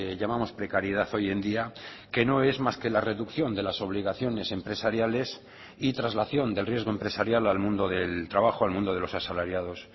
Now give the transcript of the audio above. llamamos precariedad hoy en día que no es más que la reducción de las obligaciones empresariales y traslación del riesgo empresarial al mundo del trabajo al mundo de los asalariados